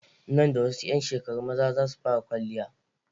Nan da wasu 'yan shekaru maza za su fara kwaliya.